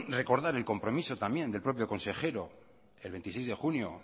recordar el compromiso también del propio consejero el veintiséis de junio